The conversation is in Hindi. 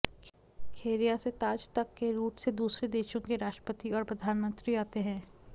खेरिया से ताज तक के रूट से दूसरे देशों के राष्ट्रपति और प्रधानमंत्री आते हैं